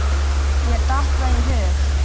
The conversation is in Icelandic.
Mér datt það í hug!